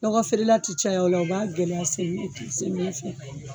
Lɔgɔ feerela tɛ caya o la o b'a gɛlɛya semiyɛ semiyɛ fɛ